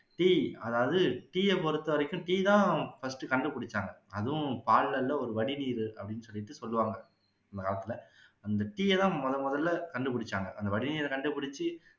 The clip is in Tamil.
tea அதாவது tea அ பொறுத்த வரைக்கும் tea தான் first கண்டுபுடிச்சாங்க அதும் பால்ல இல்ல ஒரு வடிநீரு அப்படின்னு சொல்லிட்டு சொல்லுவாங்க அந்த காலத்துல அந்த tea அ தான் முதன்முதல்ல கண்டுபுடிச்சாங்க அந்த வடிநீரை கண்டுபுடிச்சு